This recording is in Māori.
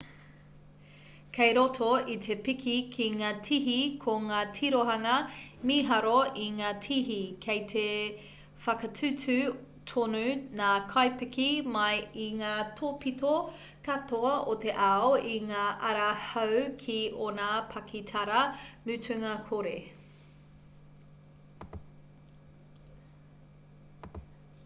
kei roto i te piki ki ngā tihi ko ngā tirohanga mīharo i ngā tihi kei te whakatūtū tonu ngā kaipiki mai i ngā tōpito katoa o te ao i ngā ara hou ki ōna pakitara mutunga kore